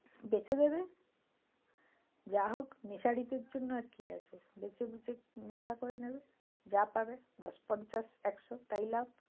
বেচে দেবে যা হোক নেশারিদের জন্য আর কি আছে? বেচে-বুচে এ নেশা করে নেবে যা পাবে দশ-পঞ্চাশ-একশো তাই লাভ।